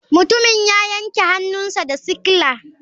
Mutumin ya yanke hannunsa da sikila.